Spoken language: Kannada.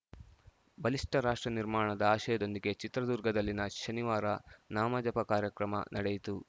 ಬಲಿಷ್ಠ ರಾಷ್ಟ್ರ ನಿರ್ಮಾಣದ ಆಶಯದೊಂದಿಗೆ ಚಿತ್ರದುರ್ಗದಲ್ಲಿನ ಶನಿವಾರ ನಾಮಜಪ ಕಾರ್ಯಕ್ರಮ ನಡೆಯಿತು